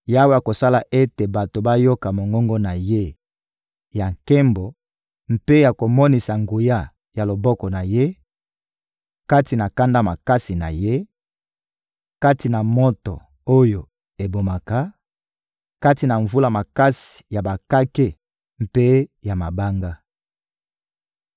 Yawe akosala ete bato bayoka mongongo na Ye ya nkembo mpe akomonisa bango nguya ya loboko na Ye kati na kanda makasi na Ye, kati na moto oyo ebomaka, kati na mvula makasi ya bakake mpe ya mabanga.